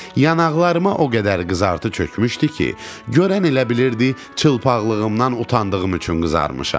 Yanaqlarıma o qədər qızartı çökmüşdü ki, görən elə bilirdi çılpaqlığımdan utandığım üçün qızarmışam.